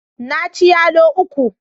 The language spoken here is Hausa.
Na ci yalo uku.